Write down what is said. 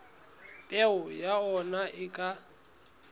peo ya ona e ka